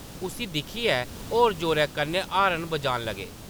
उस्सी दिक्खियै ओह्‌‌ होर जोरै कन्नै हार्न बजान लगे।